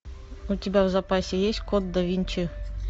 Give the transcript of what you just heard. у тебя в запасе есть код да винчи